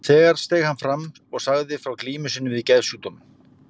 Þar steig hann fram og sagði frá glímu sinni við geðsjúkdóm.